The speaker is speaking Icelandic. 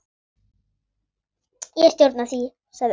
Ég stjórna því, sagði Ási.